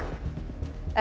ekki